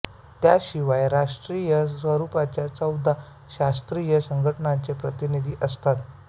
त्याशिवाय आंतरराष्ट्रीय स्वरूपाच्या चौदा शास्त्रीय संघटनांचे प्रतिनिधी असतात